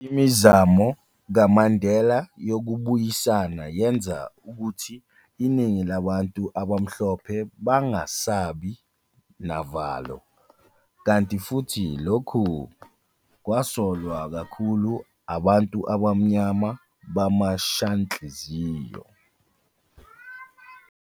Imizamo kaMandela yokubuyisana yenza ukuthi iningi labantu abamhlophe bangasabi navalo, kanti futhi lokhu kwasolwa kakhulu abantu abamnyama bamashanhliziyo.